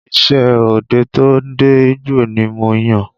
Iṣẹ́ ọdẹ to ń dẹ igbó ni mo yàn